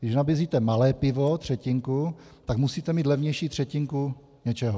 Když nabízíte malé pivo, třetinku, tak musíte mít levnější třetinku něčeho.